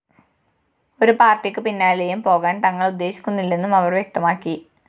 ഒരു പാര്‍ട്ടിയ്ക്ക് പിന്നാലെയും പോകാന്‍ തങ്ങള്‍ ഉദ്ദേശിക്കുന്നില്ലെന്നും അവര്‍ വ്യക്തമാക്കി